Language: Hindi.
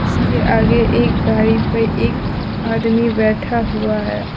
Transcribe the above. इसके आगे एक गाड़ी पे एक आदमी बैठा हुआ है।